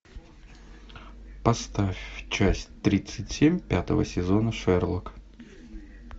поставь часть тридцать семь пятого сезона шерлок